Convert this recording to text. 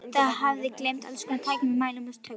Það hafði að geyma allskonar tæki með mælum og tökkum.